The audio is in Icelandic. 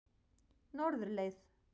Norðurleið